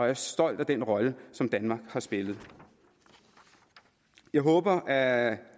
er stolt af den rolle som danmark har spillet jeg håber at